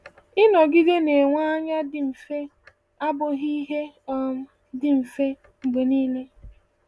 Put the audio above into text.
Ịnọgide na-enwe anya dị mfe abụghị ihe um dị mfe um mgbe niile.